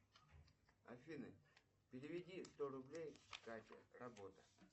афина переведи сто рублей кате работа